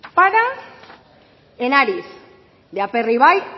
para en ariz de aperribai